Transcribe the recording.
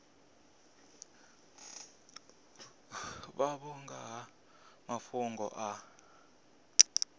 vhavho nga ha mafhungo a